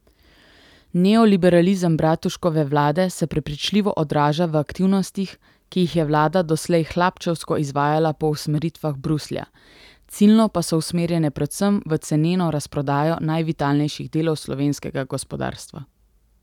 Neoliberalizem Bratuškove vlade se prepričljivo odraža v aktivnostih, ki jih je vlada doslej hlapčevsko izvajala po usmeritvah Bruslja, ciljno pa so usmerjene predvsem v ceneno razprodajo najvitalnejših delov slovenskega gospodarstva.